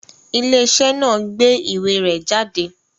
Ilé-iṣẹ́ náà gbé ìwé rẹ jáde?